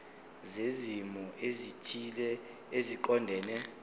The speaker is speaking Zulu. zezimo ezithile eziqondene